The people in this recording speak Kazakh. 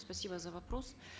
спасибо за вопрос